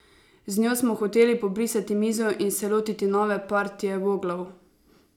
Z njo smo hoteli pobrisati mizo in se lotiti nove partije voglov.